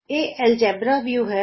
ਇਹ algebra view ਹੈ